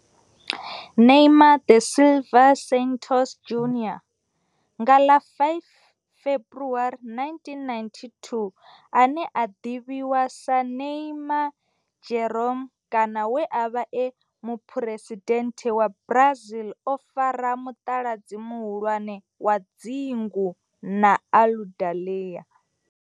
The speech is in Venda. Neymar da Silva Santos Junior, nga ḽa 5 February 1992, ane a ḓivhiwa sa Ne'ymar' Jeromme kana we a vha e muphuresidennde wa Brazil, o fara mutaladzi muhulwane wa dzingu na Aludalelia.